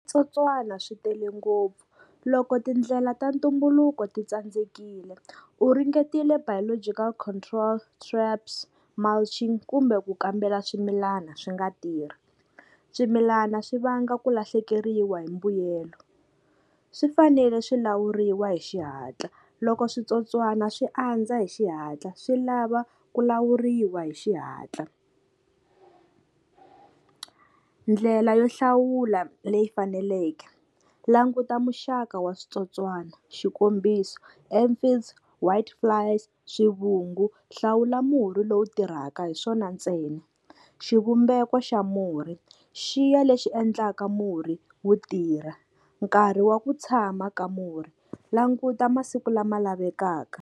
Switsotswani swi tele ngopfu, loko tindlela ta ntumbuluko titsandzekile u ringetile biological control, traps, mulching kumbe ku kambela swimilana swi nga tirhi. Swimilana swi vanga ku lahlekeriwa hi mbuyelo, swi fanele swi lawuriwa hi xihatla loko switsotswana swi andza hi xihatla swi lava ku lawuriwa hi xihatla. Ndlela yo hlawula leyi faneleke languta muxaka wa switsotswana xikombiso, Amphients, Whiteflies, swivungu hlawula murhi lowu tirhaka hi swona ntsena. Xivumbeko xa murhi xiya lexi endlaka murhi wu tirha nkarhi wa ku tshama ka murhi languta masiku lama lavekaka.